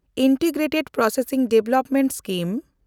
integrated processing development scheme